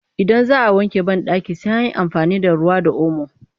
Idan za a wanke banɗaki sai an yi amfani da ruwa da omo